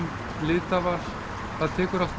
litaval tekur